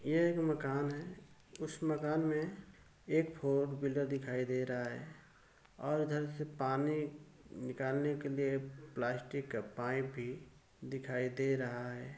ये एक मकान है। उस मकान में एक फोर व्हीलर दिखाई दे रहा है और उधर से पानी निकालने के लिए प्लास्टिक का पांईप भी दिखाई दे रहा है।